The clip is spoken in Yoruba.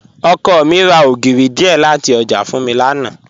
Ọkọ mi ra ogírì díẹ́ lati ọjà fún mi lánà.